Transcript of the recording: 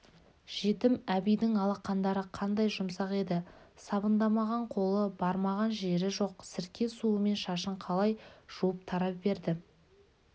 жетім әбидің алақандары қандай жұмсақ еді сабындамаған қолы бармаған жері жоқ сірке суымен шашын қалай жуып тарап берді